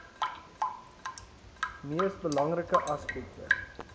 mees belangrike aspekte